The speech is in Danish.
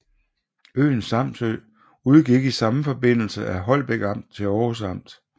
Øen Samsø udgik i samme forbindelse af Holbæk Amt til Århus Amt